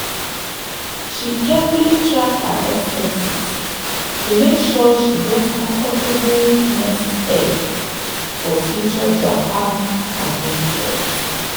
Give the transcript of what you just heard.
she carefully track her expenses to make sure she get comfortable nest egg for future japan adventures.